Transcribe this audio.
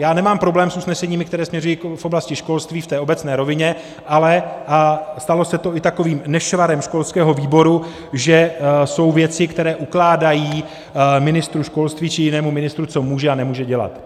já nemám problém s usneseními, která směřují k oblasti školství v té obecné rovině, ale stalo se to i takovým nešvarem školského výboru, že jsou věci, které ukládají ministru školství či jinému ministru, co může a nemůže dělat.